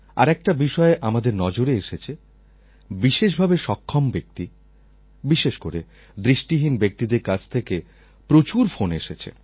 আর একটা বিষয় আমাদের নজরে এসেছে বিশেষভাবে সক্ষম ব্যক্তি বিশেষ করে দৃষ্টিহীন ব্যক্তিদের কাছ থেকে প্রচুর ফোন এসেছে